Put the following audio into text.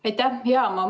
Aitäh!